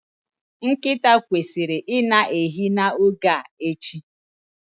Nkịta kwesịrị i na-ehi n'oge a echi